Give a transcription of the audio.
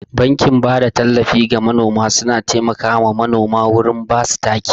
Bankin bada tallafi ga manoma suna taimaka ma manoma wurin basu taki.